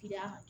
Tiyaa